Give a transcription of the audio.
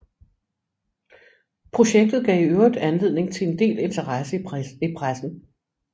Projektet gav i øvrigt anledning til en del interesse i pressen